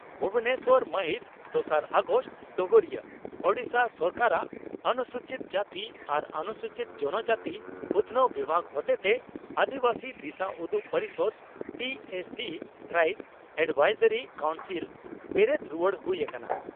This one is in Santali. ᱵᱷᱩᱵᱚᱱᱮᱥᱚᱨ ᱢᱟᱹᱦᱤᱛ ᱫᱚᱥᱟᱨ ᱟᱜᱚᱥᱴ (ᱰᱚᱜᱚᱨᱤᱭᱟᱹ) ᱺ ᱳᱰᱤᱥᱟ ᱥᱚᱨᱠᱟᱨᱟᱜ ᱚᱱᱥᱩᱪᱤᱛ ᱡᱟᱹᱛᱤ ᱟᱨ ᱚᱱᱩᱥᱩᱪᱤᱛ ᱡᱚᱱᱚ ᱡᱟᱹᱛᱤ ᱩᱛᱷᱱᱟᱹᱣ ᱵᱤᱵᱷᱟᱜᱽ ᱦᱚᱛᱮᱛᱮ ᱟᱹᱫᱤᱵᱟᱹᱥᱤ ᱫᱤᱥᱟᱹᱩᱫᱩᱜ ᱯᱚᱨᱤᱥᱚᱫᱽ ( ᱴᱤ ᱮ ᱥᱤ ᱼ ᱴᱨᱟᱭᱤᱵᱥ ᱮᱰᱵᱷᱟᱭᱥᱚᱨᱤ ᱠᱟᱣᱩᱱᱥᱤᱞ ) ᱵᱮᱨᱮᱫ ᱨᱩᱣᱟᱹᱲ ᱦᱩᱭ ᱟᱠᱟᱱᱟ ᱾